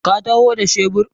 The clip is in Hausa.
Ka taho da shebur?